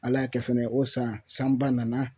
Ala y'a kɛ fɛnɛ o san sanba nana